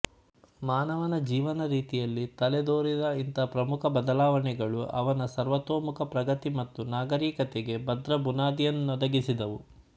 ಮಾನವನ ಜೀವನ ರೀತಿಯಲ್ಲಿ ತಲೆದೋರಿದ ಇಂಥ ಪ್ರಮುಖ ಬದಲಾವಣೆಗಳು ಅವನ ಸರ್ವತೋಮುಖ ಪ್ರಗತಿ ಮತ್ತು ನಾಗರಿಕತೆಗೆ ಭದ್ರಬುನಾದಿಯನ್ನೊದಗಿಸಿದವು